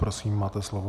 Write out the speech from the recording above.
Prosím, máte slovo.